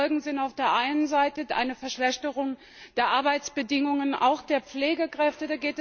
Die Folgen sind auf der einen Seite eine Verschlechterung der Arbeitsbedingungen der Pflegekräfte.